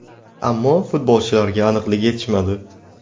Ammo futbolchilarga aniqlik yetishmadi.